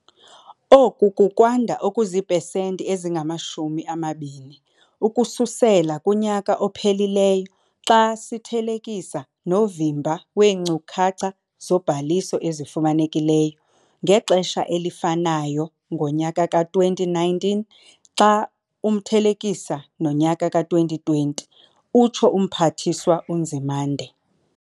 "Oku kukwanda okuzipesenti ezingama-20 ukususela kunyaka ophelileyo xa sithelekisa novimba weenkcukacha zobhaliso ezifumanekileyo ngexesha elifanayo ngonyaka ka-2019 xa umthelekisa nonyaka ka-2020," utsho uMphathiswa uNzimande.